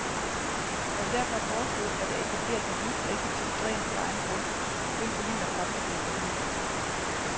Jeg vil derfor foreslå, at der etableres et nyt og effektivt dræn på egen grund, det vil forhindre fremtidige problemer.